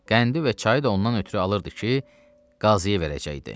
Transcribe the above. Qəndi və çayı da ondan ötrü alırdı ki, qaziyə verəcəkdi.